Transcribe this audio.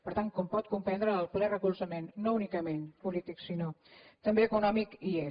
per tant com pot comprendre el ple recolzament no únicament polític sinó també econòmic hi és